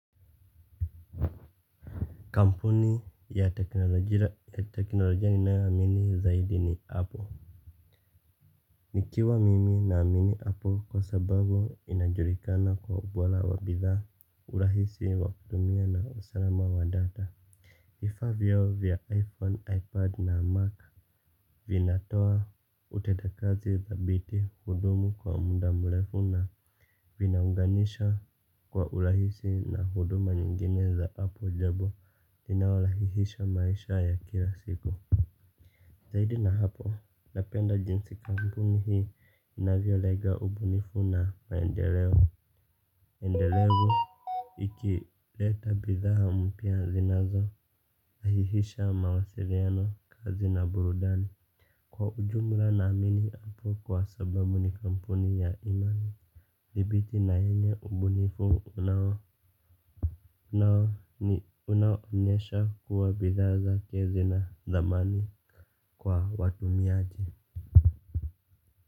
Kampuni ya teknolojia ninayoamini zaidi ni Apple. Nikiwa mimi naamini Apple kwa sababu inajulikana kwa ubora wa bidhaa, urahisi, wa kutumia na usalama wa data. Vifaa vyo vya iPhone, iPad na Mac Vinatoa utendakazi dhabiti hudumu kwa muda mrefu na vinaunganisha kwa urahisi na huduma nyingine za hapo jebo inayorahisisha maisha ya kila siku. Zaidi na hapo, napenda jinsi kampuni hii inavyolenga ubunifu na maendeleo Endelevu Ikileta bidhaa mpya zinazo rahisisha mawasiliano kazi na burudani. Kwa ujumla naamini Apple kwa sababu ni kampuni ya imani. Dhibiti na ina ubunifu unao unaonyesha kuwa bidhaa zake zina thamani kwa watumiaji.